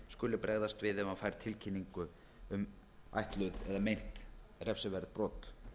skuli bregðast við ef hann fær tilkynningu um ætluð eða meint refsiverð brot